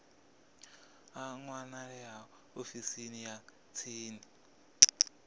a wanalea ofisini ya tsini